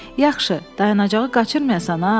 Yaxşı, dayanacağı qaçırmayasan ha.